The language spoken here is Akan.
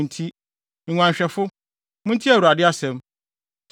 nti, nguanhwɛfo, muntie Awurade asɛm: